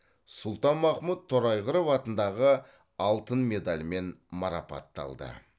сұлтанмахмұт торайғыров атындағы алтын медалмен марапатталды